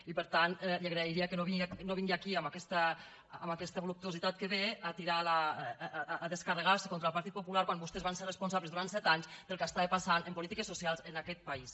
i per tant li agrairia que no vingués aquí amb aquesta voluptuositat amb què ve a descarregar se contra el partit popular quan vostès van ser responsables durant set anys del que estava passant en polítiques socials en aquest país